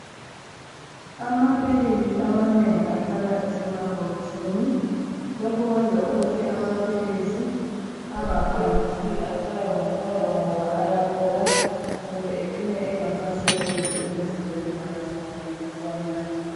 Amaphilisi amanengi ahlala esemabhokisini lokhu kwenza ukuthi amaphilisi angaphangisi atshaywe ngumoya ngoba ayabola kumbe ecine engasasebenzi emzimbeni nxa isigulane sesiwanatha.